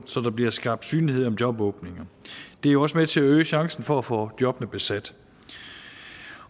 så der bliver skabt synlighed om jobåbninger det er jo også med til at øge chancen for at få jobbene besat